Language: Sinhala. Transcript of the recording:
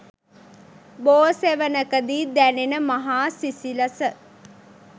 බෝ සෙවණකදී දැනෙන මහා සිසිලස